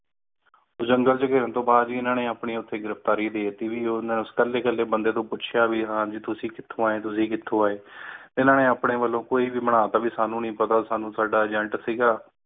ਜੰਗਲ ਚੇ ਘਿਰਣ ਤੋਂ ਬਾਅਦ ਵੀ ਉਨ੍ਹਾਂ ਨੇ ਆਪਣੀ ਓਥੇ ਗ੍ਰਿਫ਼ਤਾਰੀ ਦੇਤੀ ਉਹਨਾਂ ਨੂੰ ਕੱਲੇ ਕੱਲੇ ਬੰਦੇ ਤੋਂ ਪੁੱਛਿਆ ਗਿਆ ਕਿ ਤੁਸੀਂ ਕਿਥੋਂ ਆਏ ਤੁਸੀਂ ਕਿਥੋਂ ਆਏ ਤੇ ਇਹਨਾਂ ਨੇ ਆਪਣੇ ਵਲੋਂ ਆਇਆ ਕੋਈ ਵੀ ਬਣਾ ਤਾ ਵੀ ਸਾਨੂੰ ਨਹੀਂ ਪਤਾ ਸਾਨੂੰ ਸਾਡਾ agent ਸੀਗਾ